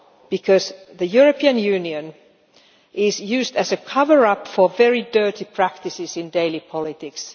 Because the European Union is used as a cover up for very dirty practices in daily politics.